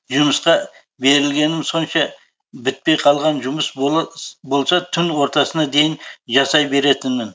жұмысқа берілгенім сонша бітпей қалған жұмыс болса түн ортасына дейін жасай беретінмін